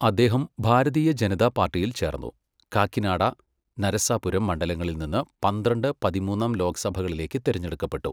അദ്ദേഹം ഭാരതീയ ജനതാ പാർട്ടിയിൽ ചേർന്നു, കാക്കിനാഡ, നരസാപുരം മണ്ഡലങ്ങളിൽ നിന്ന് പന്ത്രണ്ട്, പതിമൂന്നാം ലോക്സഭകളിലേക്ക് തിരഞ്ഞെടുക്കപ്പെട്ടു.